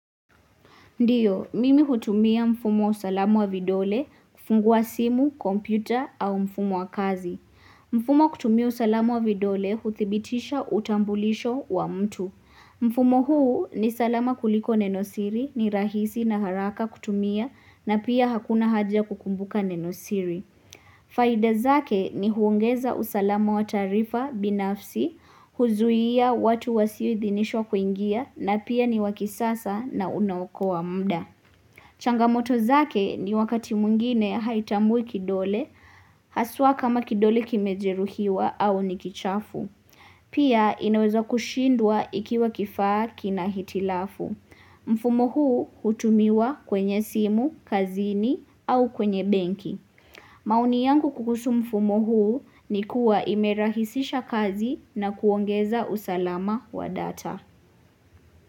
Ndiyo, mimi hutumia mfumo usalama wa vidole kufungua simu, kompyuta au mfumo wa kazi. Mfumo kutumia usalama wa vidole huthibitisha utambulisho wa mtu. Mfumo huu ni salama kuliko nenosiri, ni rahisi na haraka kutumia na pia hakuna haja ya kukumbuka nenosiri. Faida zake ni huongeza usalamu wa taarifa binafsi, huzuia watu wasioidhinisho kuingia na pia ni wa kisasa na unaokoa muda. Changamoto zake ni wakati mwingine haitambui kidole, haswa kama kidole kimejeruhiwa au ni kichafu. Pia inaweza kushindwa ikiwa kifaa kina hitilafu. Mfumo huu hutumiwa kwenye simu, kazini au kwenye benki. Maoni yangu kuhusu mfumo huu ni kuwa imerahisisha kazi na kuongeza usalama wa data.